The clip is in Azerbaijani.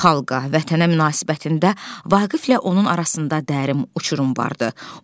Xalqa, vətənə münasibətində Vaqiflə onun arasında dərin uçurum vardır.